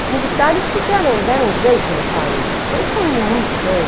Os militares puseram, deram um jeito no país, as coisas estão indo muito bem.